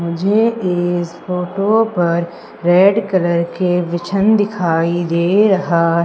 मुझे इस फोटो पर रेड कलर के बिछन दिखाई दे रहा--